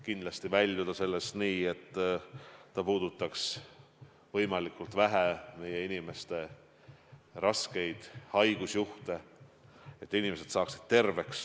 Ka on eesmärk võimalikult vähe raskeid haigusjuhte, et inimesed saaksid terveks.